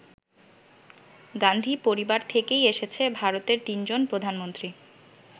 গান্ধী পরিবার থেকেই এসেছে ভারতের তিনজন প্রধানমন্ত্রী।